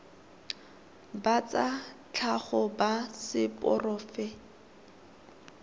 ba tsa tlhago ba seporofe